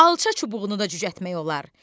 Alça çubuğunu da cücərtmək olar!